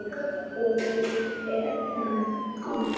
Og hún er enn að.